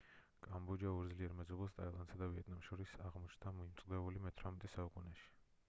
კამბოჯა ორ ძლიერ მეზობელს ტაილანდსა და ვიეტნამს შორის აღმოჩნდა მომწყვდეული მე-18 საუკუნეში